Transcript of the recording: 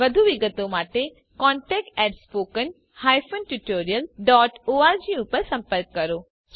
વધુ વિગતો માટે contactspoken tutorialorg પર સંપર્ક કરો